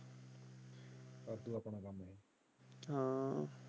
ਹਾਂ।